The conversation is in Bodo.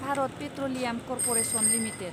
Bharat petroleum corporation limited